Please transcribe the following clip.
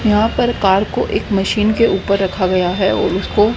यहां पर कार को एक मशीन के ऊपर रखा गया है और उसको--